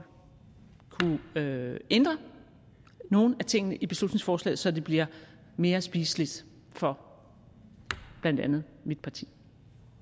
kunne ændre nogle af tingene i beslutningsforslaget så det bliver mere spiseligt for blandt andet mit parti